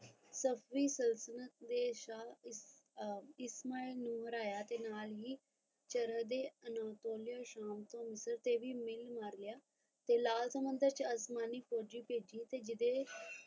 ਸੁਲਤਾਨ ਨੇ ਸ਼ਾਹ ਇਸਮਾ ਨੂੰ ਹਰਾਇਆ ਤੇ ਨਾਲ ਹੀ ਸ਼ਾਮ ਮਾਰ ਲਿਆ ਤੇ ਲਾਲ ਸਮੁੰਦਰ ਚ ਅਜਮਾਨੀ ਫੋਜੀ ਬੇਜੀ ਅਤੇ